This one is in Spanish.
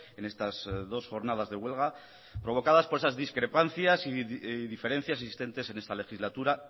en estas dos jornadas de huelga provocadas por esas discrepancias y diferencias existentes en esta legislatura